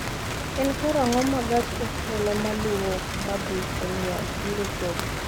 En karang�o ma gach okolomaluwo ma dhi Cornwall biro chopo?